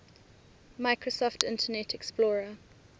microsoft internet explorer